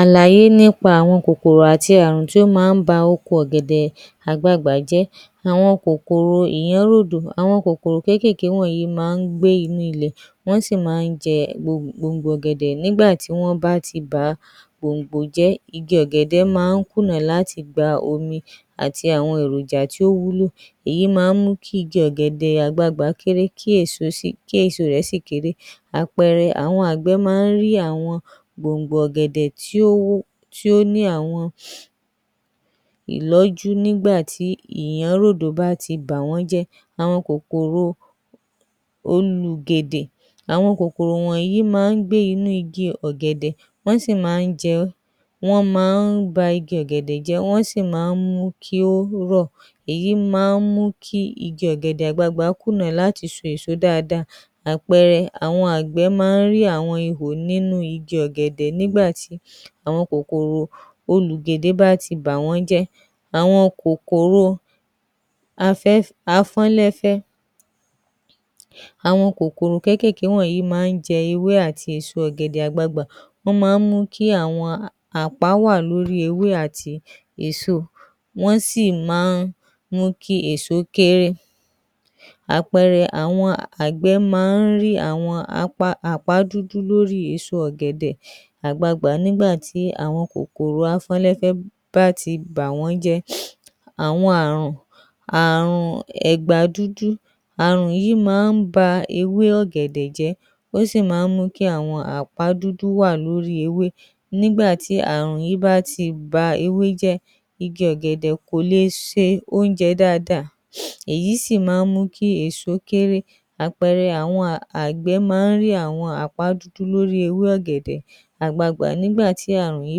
Àlàyé nípa àwọn kòkòrò àti Ààrùn tí ó máa ń ba oko ọ̀gẹ̀dẹ̀ jẹ́, àwọn kòkòrò ìyẹ́nródo àwọn kòkòrò wọ̀nyí máa ń gbé inú ilẹ̀ wọ́n sì máa ń jẹ gbòǹgbò ọ̀gẹ̀dẹ̀ nígbà tí wọ́n bá ti bà á gbòǹgbò jẹ́ igi ọ̀gẹ̀dẹ̀ máa ń kùnà láti gba omi àti àwọn èròjà tó wúlò, èyí máa ń mú kí igi ọ̀gẹ̀dẹ̀ àgbagbà kééré kí èso sì kééré, àpẹẹrẹ àwọn àgbẹ̀ máa ń rí àwọn gbòǹgbò ọ̀gẹ̀dẹ̀ tí ó ní àwọn ìlọ́jú nígbà tí ìlọ́ródo bá ti bà wọ́n jẹ́, àwọn kòkòrò olùgèdè, àwọn kòkòrò yìí máa ń gbé inú igi ọ̀gẹ̀dẹ̀ wọ́n sì máa ń jẹ ẹ́, wọ́n máa ń ba igi ọ̀gẹ̀dẹ̀ jẹ́, èyí sì máa ń mú kí igi ọ̀gẹ̀dẹ̀ kùnà láti so èso dáadáa, àpẹẹrẹ àwọn àgbẹ̀ máa ń rí àwọn ihò nínú igi ọ̀gẹ̀dẹ̀ nígbà tí àwọn kòkòrò olùgèdè bá ti bà wọ́n jẹ́, àwọn kòkòrò afọ́nlẹ́kẹ́, àwọn kòkòrò kékeré wọ̀nyí máa ń jẹ ewé àti èso ọ̀gẹ̀dẹ̀ àgbagbà, wọ́n máa ń mú kí àwọn àpá wà lórí ewé àti èso wọ́n sì máa ń mú kí èso kééré, àpẹẹrẹ, àwọn àgbẹ̀ máa ń rí àwọn àpá dúdú lórí èso ọ̀gẹ̀dẹ̀ àgbagbà nígbà tí àwọn kòkòrò afọ́nlẹ́kẹ́ bá ti bà wọ́n jẹ́, àwọn Ààrùn, Ààrùn ẹgbàá dúdú, àwọn Ààrùn yìí máa ń ba ewé ọ̀gẹ̀dẹ̀ jẹ́, ó sì máa ń mú kí àwọn apá dúdú wà lórí ewé nígbà tí Ààrùn yìí bá ti ba ewé jẹ́ igi ọ̀gẹ̀dẹ̀ kò le se oúnjẹ dáadáa èyí sì máa ń mú kí èso kééré, àpẹẹrẹ àwọn àgbagbà nígbà tí àwọn Ààrùn wonyi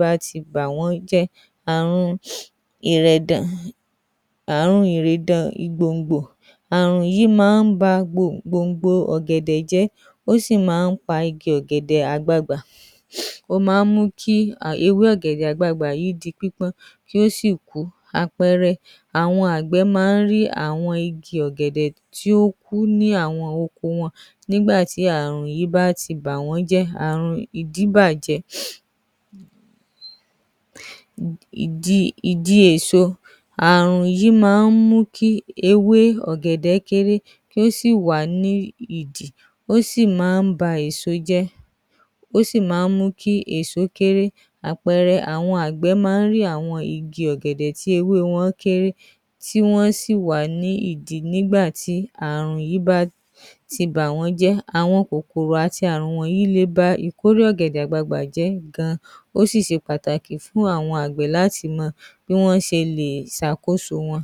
bá ti bà wọ́n jẹ́, àwọn ìrèdàn:ìrèdàn ìgbòǹgbò, Ààrùn yìí máa ń ba gbòǹgbò ọ̀gẹ̀dẹ̀ jẹ́ ó sì máa ń fa ike ọ̀gẹ̀dẹ̀ àgbagbà, ó máa ń mú kí ewé ọ̀gẹ̀dẹ̀ àgbagbà yìí di pípọ́n kí ó sì kú, àpẹẹrẹ àwọn àgbẹ̀ máa rí àwọn igi ọ̀gẹ̀dẹ̀ tí ó kú ní àwọn ọkọ wọn nígbà tí Ààrùn yìí bá ti bà wọ́n jẹ́. Ààrùn ìdíbájẹ́:di èso, àárun yìí máa mú kí ewé ọ̀gẹ̀dẹ̀ kééré, ó sì wà ní ìdí ó sì mú kí èso kééré, àpẹẹrẹ àwọn àgbẹ̀ máa ń rí àwọn ìdí ọ̀gẹ̀dẹ̀ tí ewé wọn kééré tí wọ́n sì wà ní ìdì nígbà tí ààrùn yìí bá ti bà wọ́n jẹ́, àwọn Ààrùn yìí lè ba ìkórè ọ̀gẹ̀dẹ̀ jẹ́ ó sì ṣe pàtàkì láti fún àwọn àgbẹ̀ láti mọ bí wọ́n ṣe lè mọ̀.